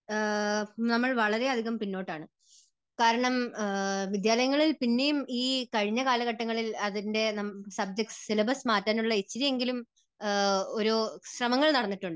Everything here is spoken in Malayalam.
ആഹ് നമ്മൾ വളരെയധികം പിന്നോട്ടാണ്. കാരണം വിദ്യാലയങ്ങളിൽ പിന്നെയും ഈ കഴിഞ്ഞ കാലഘട്ടങ്ങളിൽ അതിന്റെ സബ്ജക്ട്സ്, സിലബസ് മാറ്റാനുള്ള ഇത്തിരിയെങ്കിലും ഒരു ശ്രമങ്ങൾ നടന്നിട്ടുണ്ട്.